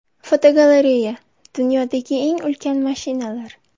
Fotogalereya: Dunyodagi eng ulkan mashinalar.